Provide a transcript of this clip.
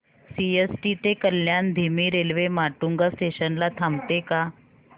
CST ते कल्याण धीमी railway Matunga station ला थांबते का